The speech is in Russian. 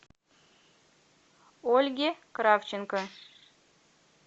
ольге кравченко